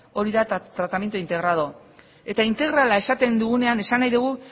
hori da tratamiento integrado eta integrala esaten dugunean esan nahi degu